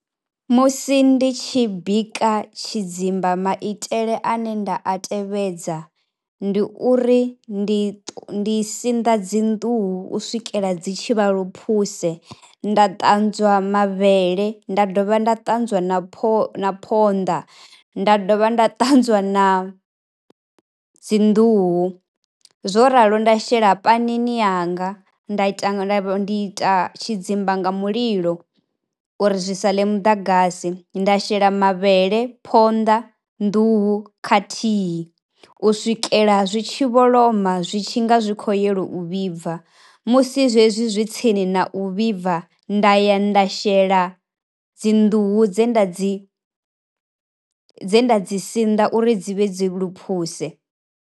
Musi ndi tshi bika tshidzimba maitele ane nda a tevhedza ndi uri ndi ndi sinḓa dzi nḓuhu u swikela dzi tshi vha luphuse nda ṱanzwa mavhele nda dovha nda ṱanzwa na pho na phonḓa nda dovha nda ṱanzwa na dzi nḓuhu, zwo ralo nda shela pani ni yanga nda ndi ita tshidzimba nga mulilo uri zwi sale muḓagasi nda shela mavhele, phonḓa, nḓuhu khathihi u swikela zwitshi vholoma. Zwi tshi nga zwikho yelo u vhibva, musi zwezwi zwi tsini na u vhibva nda ya nda shela dzi nḓuhu dze nda dzi dze nda dzi sinḓa uri dzi vhe dzi luphuse.